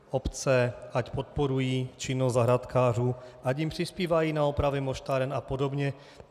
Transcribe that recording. Obce ať podporují činnost zahrádkářů, ať jim přispívají na opravy moštáren a podobně.